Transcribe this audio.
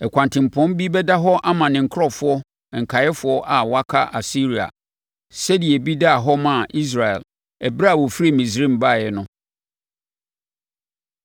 Ɛkwantempɔn bi bɛda hɔ ama ne nkurɔfoɔ nkaeɛfoɔ a wɔaka Asiria, sɛdeɛ ebi daa hɔ maa Israel ɛberɛ a wɔfiri Misraim baeɛ no.